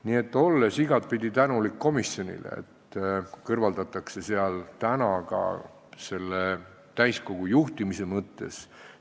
Nii et olen igapidi tänulik komisjonile, et seadusest kõrvaldatakse vead, mis seal täna on selgelt sees ka täiskogu juhtimise mõttes.